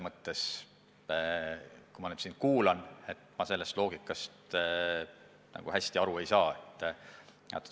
Ja kui ma nüüd sind kuulasin, siis ma sellest loogikast ka nagu hästi aru ei saanud.